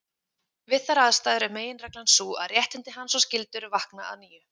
Við þær aðstæður er meginreglan sú að réttindi hans og skyldur vakna að nýju.